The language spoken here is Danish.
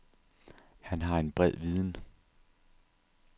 Han har en bred viden.